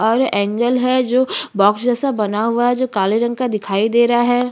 और एंगेल है जो बॉक्स जैसा बना हुआ है जो काले रंग का दिखाई दे रहा है।